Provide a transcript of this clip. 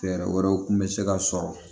Fɛɛrɛ wɛrɛw kun bɛ se ka sɔrɔ